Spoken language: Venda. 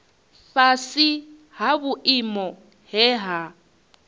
fhasi ha vhuimo he ha